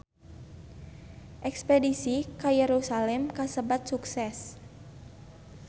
Espedisi ka Yerusalam kasebat sukses